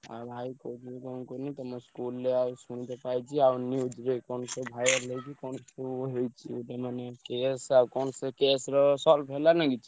ଆଉ ଆଉ କହୁଥିଲି କଣ କୁହନି ତମ school ରେ ଆଉ ଶୁଣିତେ ପାଇଛି ଆଉ news ରେ କଣ ସବୁ viral ହେଇଛି କଣ ସବୁ ହେଇଛି ଗୋଟେ ମାନେ case ଆଉ କଣ ସେ case ର solve ହେଲା ନା କିଛି?